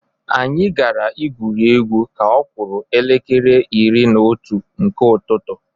Anyị gara igwuri egwu ka ọ kụrụ elekere iri na otu nke ụtụtụ.